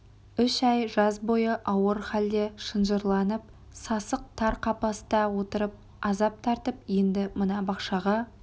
үш ай жаз бойы ауыр халде шынжырланып сасық тар қапаста отырып азап тартып енді мына бақшаға